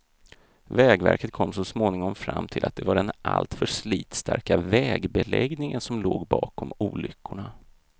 Vägverket kom så småningom fram till att det var den alltför slitstarka vägbeläggningen som låg bakom olyckorna.